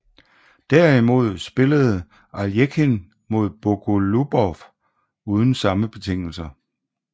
Derimod spillede Aljechin mod Bogoljubov uden samme betingelser